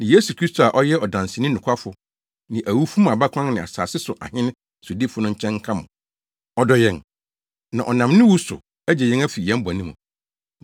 ne Yesu Kristo a ɔyɛ ɔdanseni nokwafo ne awufo mu abakan ne asase so ahene sodifo no nkyɛn nka mo. Ɔdɔ yɛn, na ɔnam ne wu no so agye yɛn afi yɛn bɔne mu.